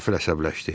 Qəfil əsəbləşdi.